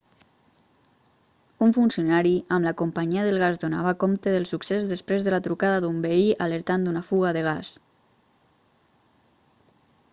un funcionari amb la companyia del gas donava compte del succés després de la trucada d'un veí alertant d'una fuga de gas